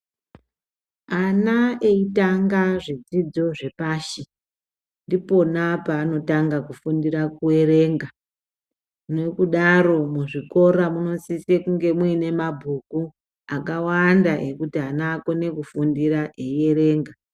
Ana eitanga zvidzidzo zvepashi ndipona paanotanga kufundira kuerenga. Nokudaro muzvikora munosisa kunge mune mabhuku akawanda ekuti ana akone kufundira eyierenga.